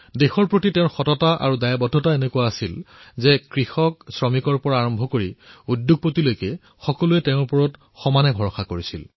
দেশৰ বাবে তেওঁৰ দায়বদ্ধতা আৰু প্ৰতিশ্ৰুতি এনে আছিল যে কৃষক শ্ৰমিকৰ পৰা আৰম্ভ কৰা উদ্যোগপতিলৈ সকলোৱে তেওঁক বিশ্বাস কৰিছিল